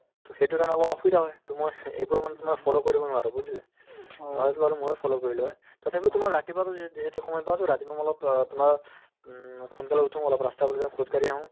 to সেইটোৰ কাৰণে অলপ অসুবিধা হয় to মই সে~ এইবোৰ মানে তোমাৰ follow কৰিব নোৱাৰো বুজিলে তোমাৰতো বাৰু ময়ে follow কৰিলো হৈ তথাপিও তোমাৰ ৰাতিপুৱাতো যি~ যিহেতু সময় পাও to ৰাতিপুৱা মই অলপ অ তোমাৰ উম সোনকালে উঠো অলপ ৰাস্তা পদূলিতে খোজকাঢ়ি আহো